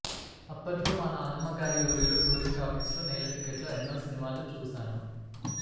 అప్పట్లో మా నాన్నమ్మగారి ఊరిలో టూరింగ్ టాకీస్లో నేల టికెట్లో ఎన్నో సినిమాలు చూశాను